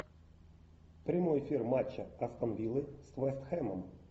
прямой эфир матча астон виллы с вест хэмом